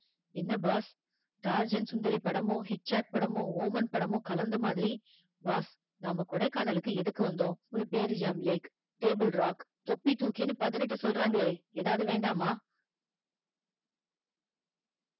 என்ன boss Tarzan சுந்தரி படமோ ஹிட்ச்காக் படமோ ஓமன் படமோ கலந்த மாதிரி boss நாம கொடைக்கானலுக்கு எதுக்கு வந்தோம் ஒரு பேரிஜம் லேக், தொப்பி தூக்கின்னு பதினெட்டு சொல்றாங்களே ஏதாவது வேண்டாமா